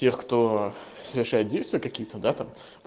кто совершает действие какие-то дата